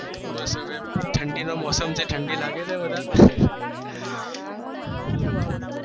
બસ હવે ઠંડી નો મોસમ છે ઠંડી લાગે છે વધાર